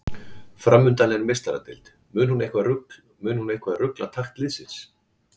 Framundan er Meistaradeild, mun hún eitthvað rugla takt liðsins?